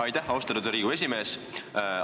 Aitäh, austatud Riigikogu esimees!